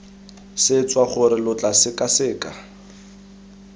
swetsa gore lo tla sekaseka